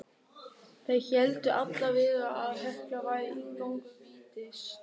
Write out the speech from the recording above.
Þeir héldu allavega að Hekla væri inngangur vítis.